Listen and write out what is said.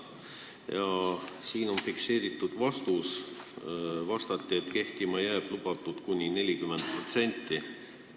Ja siin on fikseeritud vastus: "vastati, et kehtima jääb lubatud kuni 40%".